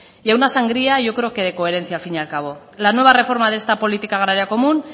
y a una sangría yo creo que de coherencia al fin y al cabo la nueva reforma de esta política agraria común